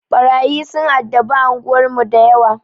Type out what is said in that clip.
Ɓarayi sun addabi anguwar mu dayawa.